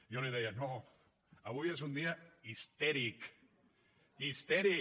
jo li deia no avui és un dia histèric histèric